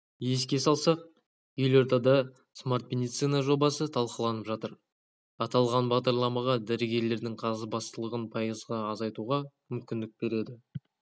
еске салсақ елордада смарт медицина жобасы талқыланып жатыр аталған бағдарлама дәрігерлердің қағазбастылығын пайызға азайтуға мүмкіндік береді